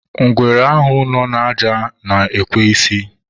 ngwere nọ n'elu aja nọ na-ekwe n'isi.